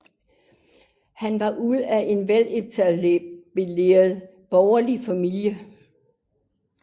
Han var ud af en veletableret borgerlig familie